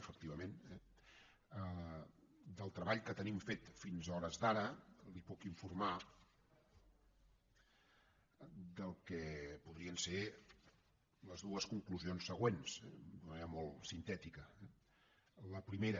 efectivament del treball que tenim fet fins a hores d’ara el puc informar del que podrien ser les dues conclusions següents d’una manera molt sintètica eh la primera